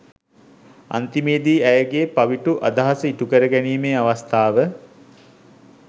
අන්තිමේදී ඇයගේ පවිටු අදහස ඉටුකරගැනීමේ අවස්ථාව